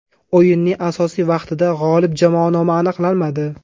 O‘yinning asosiy vaqtida g‘olib jamoa nomi aniqlanmadi.